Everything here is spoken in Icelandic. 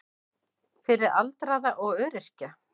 Fyrir aldraða og öryrkja.